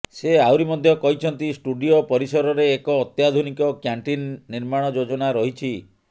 ସେ ଆହୁରି ମଧ୍ୟ କହିଛନ୍ତି ଷ୍ଟୁଡିଓ ପରିସରରେ ଏକ ଅତ୍ୟାଧୁନିକ କ୍ୟାଣ୍ଟିନ୍ ନିର୍ମାଣ ଯୋଜନା ରହିଛି